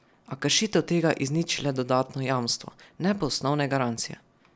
A kršitev tega izniči le dodatno jamstvo, ne pa osnovne garancije.